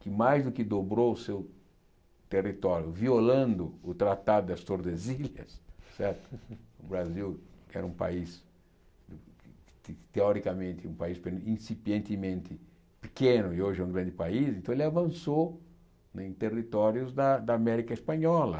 que mais do que dobrou o seu território, violando o Tratado das Tordesilhas certo, o Brasil era um país, te teoricamente, um país incipientemente pequeno e hoje é um grande país, então ele avançou em territórios da da América Espanhola.